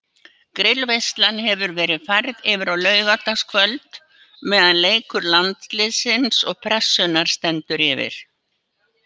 Grillveislan hefur verið færð yfir á laugardagskvöld meðan leikur Landsliðsins og Pressunnar stendur yfir.